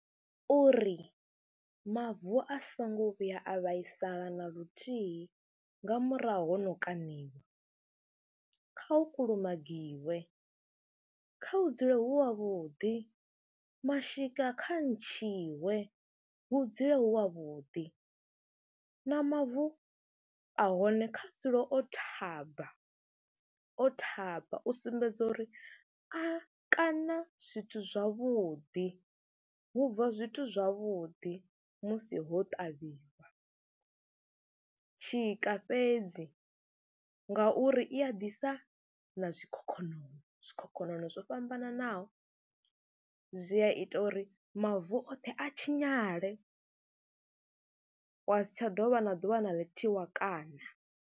Uri mavu a songo vhuya a vhaisala na luthihi nga murahu ho no kaṋiwa, kha hu kulumagiwe, kha u dzule hu havhuḓi mashika kha ntshiwe, hu dzule hu havhuḓi na mavu a hone kha dzule o thaba, o thaba u sumbedza uri a kaṋa zwithu zwavhuḓi, hu bva zwithu zwavhuḓi musi ho ṱavhiwa. Tshika fhedzi ngauri i a ḓisa na zwikhokhonono, zwikhokhonono zwo fhambananaho zwi a ita uri mavu oṱhe a tshinyale wa si tsha dovha na ḓuvha na ḽithihi wa kaṋa.